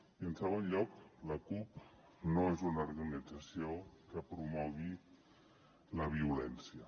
i en segon lloc la cup no és una organització que promogui la violència